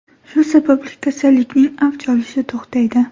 Shu sababli kasallikning avj olishi to‘xtaydi.